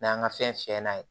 N'an ka fɛn fiyɛ n'a ye